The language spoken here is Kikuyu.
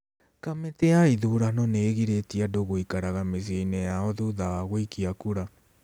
Kamĩtĩ ya ithurano nĩ ĩgirĩtie andũ gũikaraga mĩciĩ-inĩ yao thutha wa gũikia kura.